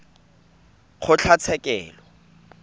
kgotlatshekelo